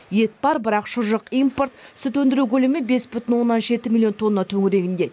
ет бар бірақ шұжық импорт сүт өндіру көлемі бес бүтін оннан жеті миллион тонна төңірегінде